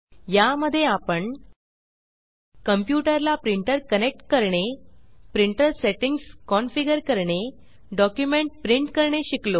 या मध्ये आपण कंप्यूटर ला प्रिंटर कनेक्ट करणे प्रिंटर सेट्टिंग्स कन्फिगर करणे डॉक्युमेंट प्रिंट करणे शिकलो